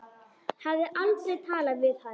Hafði aldrei talað við hann.